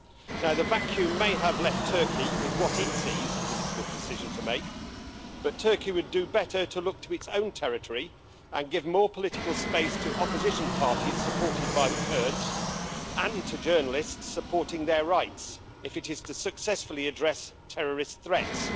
Now the vacuum may have left Turkey with what it sees as a difficult decision to make, but Turkey would do better to look to its own territory and give more political space to opposition parties supported by the Kurds, and to journalists supporting their rights if it is to successfully address terrorist threats.